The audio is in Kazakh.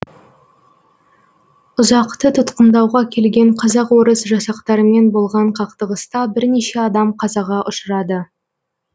ұзақты тұтқындауға келген қазақ орыс жасақтарымен болған қақтығыста бірнеше адам қазаға ұшырады